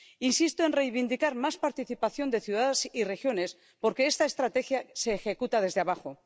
Insisto en reivindicar más participación de ciudades y regiones porque esta estrategia se ejecuta desde abajo.